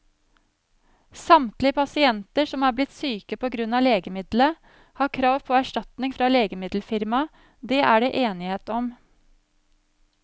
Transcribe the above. Samtlige pasienter som er blitt syke på grunn av legemiddelet, har krav på erstatning fra legemiddelfirmaet, det er det enighet om.